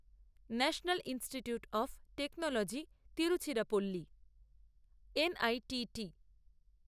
national Institute of Technology Tiruchirappalli এনআইটিটি